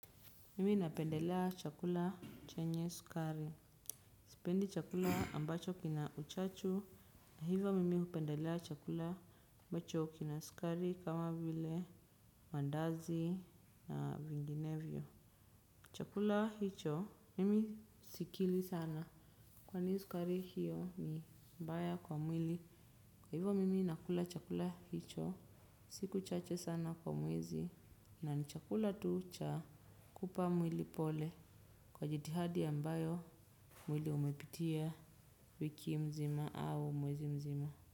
Mimi napendelea chakula chenye sukari. Sipendi chakula ambacho kina uchachu. Hivo mimi upendelea chakula ambacho kina sukari. Kama vile maandazi na vinginevyo. Chakula hicho mimi sikili sana. Kwani sukari hiyo ni mbaya kwa mwili. Hivo mimi nakula chakula hicho siku chache sana kwa mwezi na nichakula tu cha kupa mwili pole kwa jitihadi ambayo mwili umepitia wiki mzima au mwezi mzima.